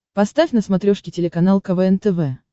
поставь на смотрешке телеканал квн тв